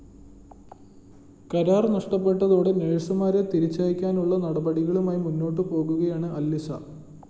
കരാര്‍ നഷ്ടപ്പെട്ടതോടെ നേഴ്‌സുമാരെ തിരിച്ചയക്കാനുള്ള നടപടികളുമായി മുന്നോട്ട് പോകുകയാണ് അല്‍ഇസ